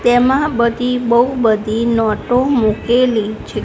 તેમાં બધી બઉ બધી નોટો મુકેલી છે.